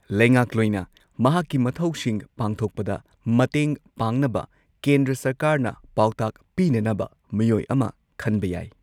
ꯂꯩꯉꯥꯛꯂꯣꯏꯅ ꯃꯍꯥꯛꯀꯤ ꯃꯊꯧꯁꯤꯡ ꯄꯥꯡꯊꯣꯛꯄꯗ ꯃꯇꯦꯡ ꯄꯥꯡꯅꯕ ꯀꯦꯟꯗ꯭ꯔ ꯁꯔꯀꯥꯔꯅ ꯄꯥꯎꯇꯥꯛ ꯄꯤꯅꯅꯕ ꯃꯤꯑꯣꯏ ꯑꯃ ꯈꯟꯕ ꯌꯥꯏ꯫